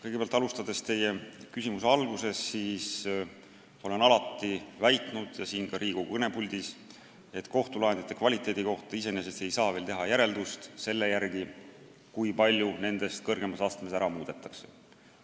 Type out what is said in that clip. Kõigepealt, alustades teie küsimuse algusest: ma olen alati väitnud, ja seda ka siin Riigikogu kõnepuldis, et kohtulahendite kvaliteedi kohta iseenesest ei saa veel teha järeldust selle järgi, kui palju nendest kõrgemas astmes ära muudetakse.